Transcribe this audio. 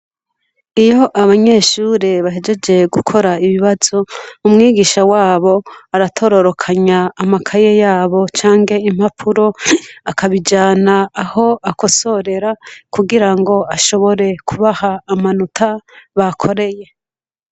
Iyo abanyeshure bahejeje gukora ibibazo umwigisha wabo aratororokanya amakaye yabo canke impapuro akabijana aho akosorera kugirango ashobore kubaha amanota bakoreye.